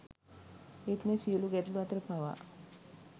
ඒත් මේ සියලු ගැටලු අතර පවා